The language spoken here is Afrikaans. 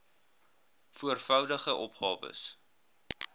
voor voudigde opgawes